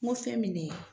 N ko fɛn min ne